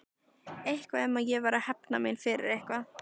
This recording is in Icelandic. Eitthvað um að ég væri að hefna mína fyrir eitthvað.